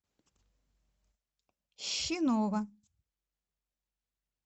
щинова